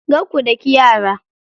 Kar ku daki yara.